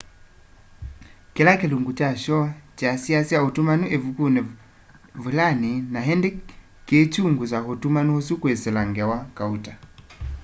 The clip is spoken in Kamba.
kila kilungu kya shoo kyasyiasya utumani ivukuni vulani na indi kiikyungusa utumani usu kwisila ngewa kauta